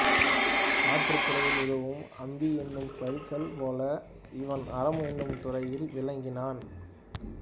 ஆற்றுத் துறையில் உதவும் அம்பி என்னும் பரிசல் போல இவன் அறம் என்னும் துறையில் விளங்கினானாம்